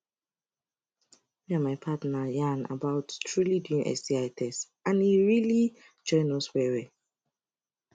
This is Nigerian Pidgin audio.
me and my partner yarn about truely doing sti test and it relly join us well well